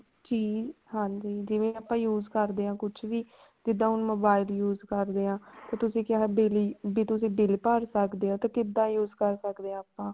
ਕੀ ਹਾਂਜੀ ਜਿਵੇਂ ਆਪਾਂ use ਕਰਦੇ ਹਾਂ ਕੁੱਝ ਵੀ ਜਿੱਦਾਂ ਹੁਣ mobile use ਕਰ ਲਿਆ ਤੇ ਤੁਸੀਂ ਕਿਹਾ bill ਵੀ ਤੁਸੀਂ bill ਭਰ ਸਕਦੇ ਹੋ ਤੇ ਕਿੱਦਾਂ use ਕਰ ਸਕਦੇ ਹਾਂ ਆਪਾਂ